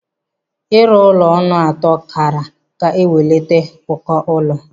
Ịrụ ụlọ ọnụ atọ karịa ga-ewelata ụkọ ụlọ.